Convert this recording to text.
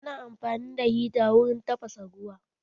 Ana amfani da hita wurin tafasa ruwa